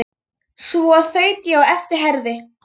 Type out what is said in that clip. Svo þaut ég á eftir Herði.